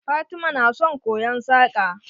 Fatima na son koyon yin saƙa.